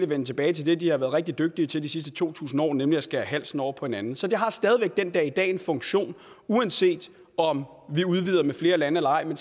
vende tilbage til det de har været rigtig dygtige til de sidste to tusind år nemlig at skære halsen over på hinanden så det har stadig væk den dag i dag en funktion uanset om vi udvider med flere lande eller ej men